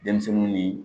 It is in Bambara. Denmisɛnnin ni